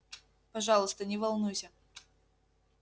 пожалуйста не волнуйся